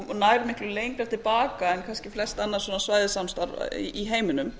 og nær miklu lengra til baka en kannski flest annað svona svæðissamstarf í heiminum